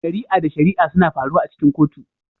Shari'a da shari'a suna faruwa a cikin kotu